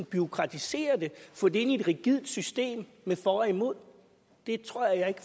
bureaukratisere det og få det ind i et rigidt system med for og imod det tror jeg